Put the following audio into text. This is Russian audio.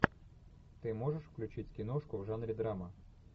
ты можешь включить киношку в жанре драма